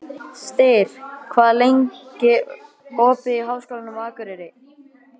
Styr, hvað er lengi opið í Háskólanum á Akureyri?